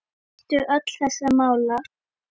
Svar: Næstum öll þessara mála